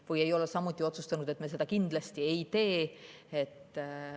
Samuti ei ole me otsustanud, et me seda kindlasti ei tee.